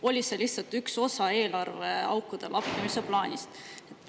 Või oli see lihtsalt üks osa eelarveaukude lappimise plaanist?